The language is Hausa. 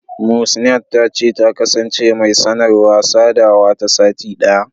Muhsinat ta ce, ta kasance mai sanarwa/sadawa ta sati ɗaya.